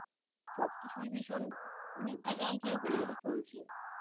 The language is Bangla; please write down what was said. সবকিছুই ভীষণ মানে কিরকম ভাবে চলছে